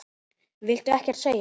Viltu ekkert segja?